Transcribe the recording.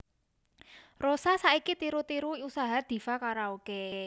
Rosa saiki tiru tiru usaha Diva Karaoke